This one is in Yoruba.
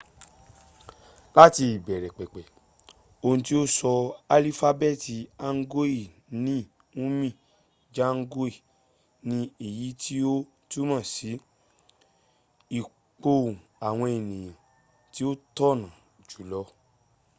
láti ìbẹ̀rẹ̀ pẹ̀pẹ̀ ohun tí ó sọ alifábẹ́ẹ̀tì hangeul ni hunmin jeongeum ni èyí tí ó túnmọ̀ sí ìpohùn àwọn ẹ̀nìyàn tí ó tọ̀nà jùlọ